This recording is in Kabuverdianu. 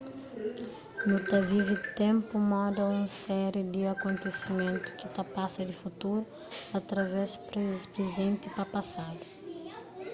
nu ta vive ténpu moda un séri di akontesimentu ki ta pasa di futuru através prizenti pa pasadu